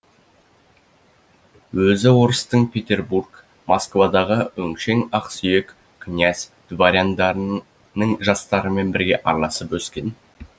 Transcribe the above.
өзі орыстың петербург москвадағы өңшең ақсүйек князь дворяндарын ның жастарымен бірге араласып өскен